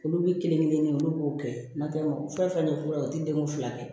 Olu bɛ kelen kelen olu b'o kɛ n'o tɛ fɛn fɛn ye u tɛ denw fila kɛ